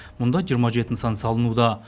мұнда жиырма жеті нысан салынуда